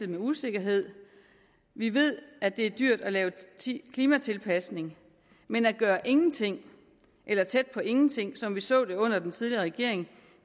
med usikkerhed vi ved at det er dyrt at lave klimatilpasning men at gøre ingenting eller tæt på ingenting som vi så det under den tidligere regering